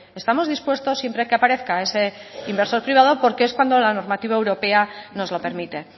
estamos dispuestos siempre que aparezca ese inversor privado porque es cuando la normativa europea nos lo permite